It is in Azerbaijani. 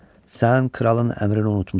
Sən kralın əmrini unutmusan.